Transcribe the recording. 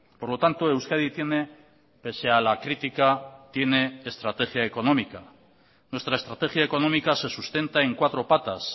por lo tanto euskadi tiene pese a la crítica tiene estrategia económica nuestra estrategia económica se sustenta en cuatro patas